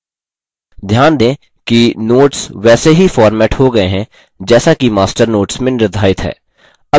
ध्यान दें कि notes वैसे ही फ़ॉर्मेट हो गये हैं जैसा कि master notes में निर्धारित है